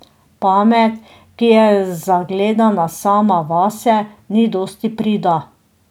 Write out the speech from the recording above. Pamet, ki je zagledana sama vase, ni dosti prida.